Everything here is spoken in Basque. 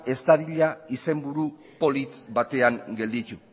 ez dadila izenburu polit batean gelditu